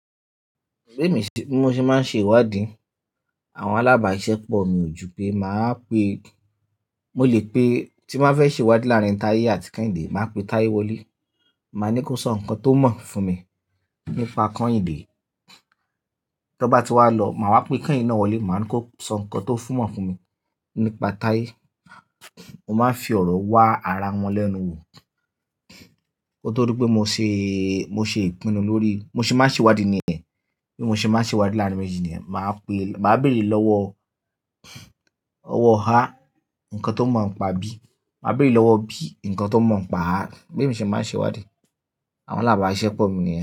Bí mò ṣe máa ń ṣe ìwádìí, àwọn alábàáṣepọ̀ mi ò ju pé mà á pe, mo lè pé, tí n bá fẹ́ ṣe ìwádìí láàárín Táyé àti Kẹ́hìndé, mà á pe Táyé wọlé, mà á ní kó sọ nǹkan tó mọ̀ fún mi nípa Kẹ́hìndé, tó bá ti wá lọ mà á wá pe Kẹ́hìndé náà wọlé, mà á ní kó sọ nǹkan tó mọ̀ fún mi nípa Táyé. Mo máa fi ọ̀rọ̀ wá ara wọn lẹ́nu wò. Kóóto di pé mo ṣe, mo ṣe ìpinnu lórí, mo ṣe máa ń ṣe ìwádìí nìyẹn. Bí mo ṣe máa ń ṣe ìwádìí láàrín méjì nìyẹn. Mà á pe, mà á béèrè lọ́wọ́, ọwọ́ "a" nǹkan tó mọ̀ ọ́ n pa "b", mà á béèrè lọ́wọ́ "b" nǹkan tó mọ̀ ọ́ n pa "a". Bí mo ṣe máa ń ṣe ìwádìí, àwọn alábàáṣepọ̀ mi nìyẹn.